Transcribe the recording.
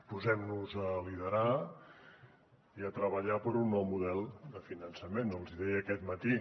posem nos a liderar i a treballar per un nou model de finançament els hi deia aquest matí